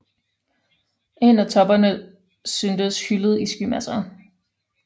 En af toppene syntes hyllet i skymasser